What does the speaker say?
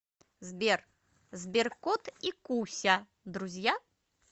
сбер сберкот и куся друзья